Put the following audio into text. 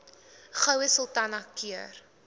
goue sultana keur